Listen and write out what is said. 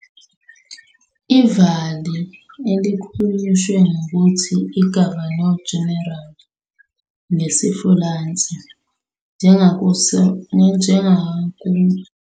"IVali", elihunyushwe ngokuthi "gouverneur-général" ngesiFulentshi, njengakumthethosisekelo -Ottoman, kwaba isihloko eMbusweni wase-Ottoman sohlobo oluvame kakhulu lombusi wase-Ottoman, ophethe i-vilayet, ngesi-Ottoman Turkish, imvamisa isikhulu sezempi njenge-pasha, bheka Izingxenye zoMbuso Wase-Ottoman.